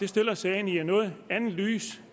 stiller sagen i et noget andet lys